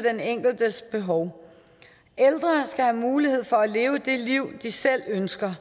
den enkeltes behov ældre skal have mulighed for at leve det liv de selv ønsker